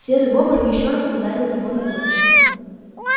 серый бобр ещё раз ударил его ногой